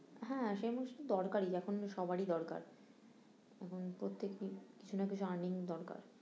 হ্যাঁ সেই দরকারি এখন সবারই দরকার এখন প্রত্যেকেই কিছু না কিছু earning দরকার